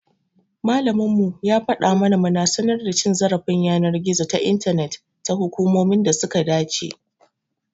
Malaminmu ya fada mana muna sanar da cin zarafin yanar gizo ta intanet ga hukumomin da suka dace.